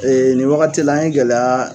nin wagati la an ye gɛlɛya